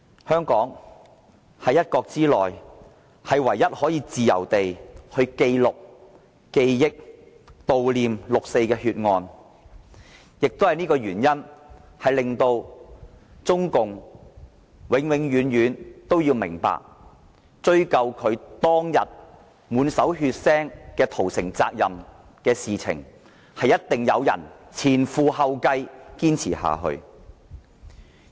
香港是一國之內唯一可以自由地記錄、記憶、悼念六四血案的地方，也基於這原因，令中共永遠都要明白，追究其當天滿手血腥屠城責任一事，定會有人前仆後繼堅持下去。